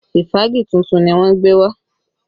Ìfági tuntun ni wọ́n gbé wá